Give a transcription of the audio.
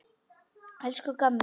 Elsku gamli.